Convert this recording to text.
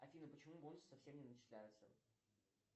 афина почему бонусы совсем не начисляются